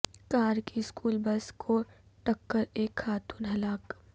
کار کی school bus کو ٹکر ایک خاتون ہلاک